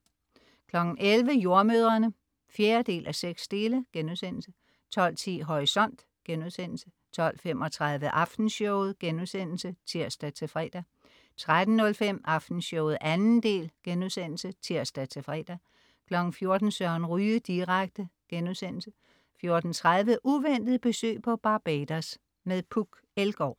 11.00 Jordemødrene 4:6* 12.10 Horisont* 12.35 Aftenshowet* (tirs-fre) 13.05 Aftenshowet 2. del* (tirs-fre) 14.00 Søren Ryge direkte* 14.30 Uventet besøg på Barbados. Puk Elgaard